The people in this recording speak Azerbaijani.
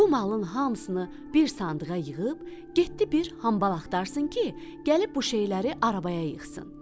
Bu malın hamısını bir sandığa yığıb, getdi bir hambal axtarsın ki, gəlib bu şeyləri arabaya yığsın.